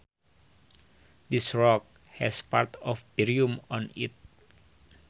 This rock has parts of barium on it